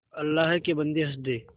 अल्लाह के बन्दे हंस दे